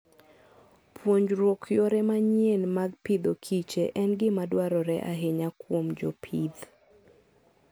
Puonjruok yore manyien mag Agriculture and Fooden gima dwarore ahinya kuom jopith.